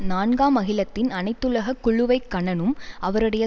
நான்காம் அகிலத்தின் அனைத்துலக குழுவை கனனும் அவருடைய